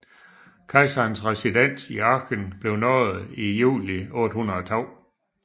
Kejserens residens i Aachen blev nået i juli 802